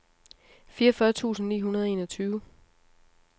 fireogfyrre tusind ni hundrede og enogtyve